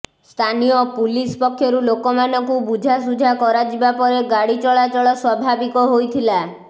ସ୍ଥାନୀୟ ପୁଲିସ ପକ୍ଷରୁ ଲୋକମାନଙ୍କୁ ବୁଝାସୁଝା କରାଯିବା ପରେ ଗାଡ଼ି ଚଳାଚଳ ସ୍ୱାଭାବିକ ହୋଇଥିଲା